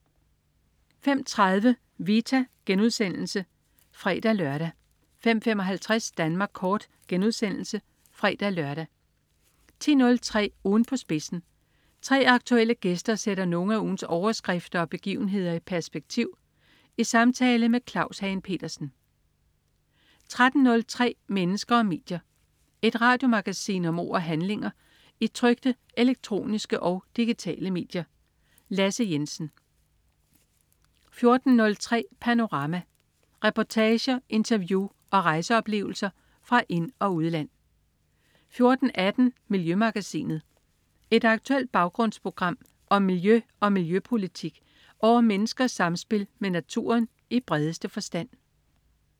05.30 Vita* (fre-lør) 05.55 Danmark kort* (fre-lør) 10.03 Ugen på spidsen. 3 aktuelle gæster sætter nogle af ugens overskrifter og begivenheder i perspektiv i samtale med Claus Hagen Petersen 13.03 Mennesker og medier. Et radiomagasin om ord og handlinger i trykte, elektroniske og digitale medier. Lasse Jensen 14.03 Panorama. Reportager, interview og rejseoplevelser fra ind- og udland 14.18 Miljømagasinet. Et aktuelt baggrundsprogram om miljø og miljøpolitik og om menneskers samspil med naturen i bredeste forstand